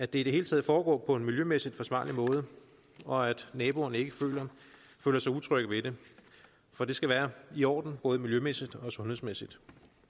det hele taget foregår på en miljømæssigt forsvarlig måde og at naboerne ikke føler sig utrygge ved det for det skal være i orden både miljømæssigt og sundhedsmæssigt